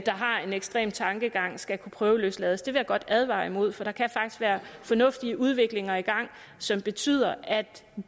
har en ekstrem tankegang skal kunne prøveløslades det vil jeg godt advare imod for der kan faktisk være fornuftige udviklinger i gang som betyder at